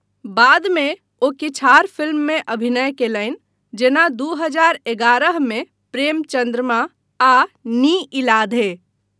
बादमे, ओ किछु आर फिल्ममे अभिनय कयलनि, जेना दू हजार एगारह मे प्रेम चँद्रमा आ नी इलाधे।